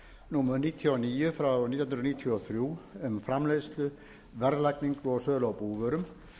númer níutíu og níu nítján hundruð níutíu og þrjú um framleiðslu verðlagningu og sölu á búvörum